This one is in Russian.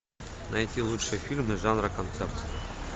найти лучшие фильмы жанра концерт